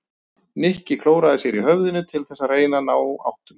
Nikki klóraði sér í höfðinu til þess að reyna að ná áttum.